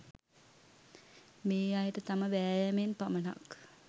මේ අයට තම වෑයමෙන් පමණක්